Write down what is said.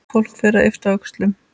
Fólk fer að yppta öxlum.